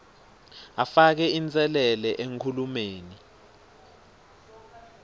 afake inselele enkhulumeni